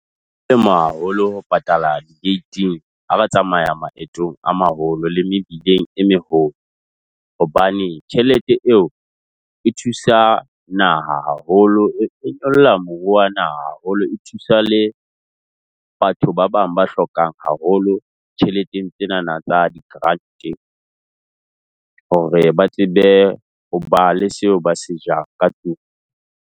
Ema haholo ho patala di-gate-eng ha ba tsamaya maetong a maholo le mebileng e meholo. Hobane tjhelete eo e thusa naha haholo, e nyolla moruo wa naha haholo. E thusa le batho ba bang ba hlokang haholo tjheleteng tsenana tsa di-grant-e hore ba tsebe ho ba le seo ba se jang ka tlung.